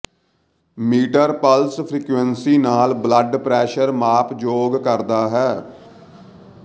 metre pulse frequency ਨਾਲ blood pressure ਮਾਪ ਯੋਗ ਕਰਦਾ ਹੈ